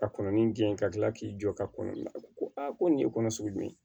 Ka kɔnɔni gɛn ka tila k'i jɔ ka kɔnɔni la ko a ko nin ye kɔnɔ sugu jumɛn